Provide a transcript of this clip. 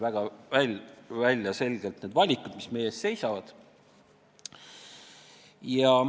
Väga selgelt tulid välja need valikud, mis meie ees seisavad.